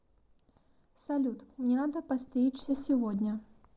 салют мне надо постричься сегодня